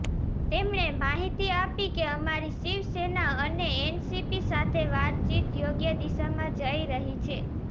તેમણે માહિતી આપી કે અમારી શિવસેના અને એનસીપી સાથે વાતચીત યોગ્ય દિશામાં જઈ રહી છે